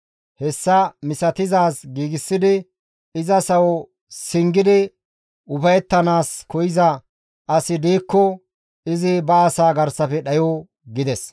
Hessa misatizaaz giigsidi iza sawo singidi ufayettanaas koyza asi diikko izi ba asaa garsafe dhayo» gides.